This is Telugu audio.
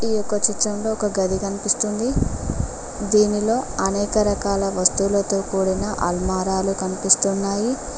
ఈ యొక్క చిత్రంలో ఒక గది కనిపిస్తుంది దీనిలో అనేక రకాల వస్తువులతో కూడిన అల్మారా లు కన్పిస్తున్నాయి.